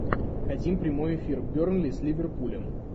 хотим прямой эфир бернли с ливерпулем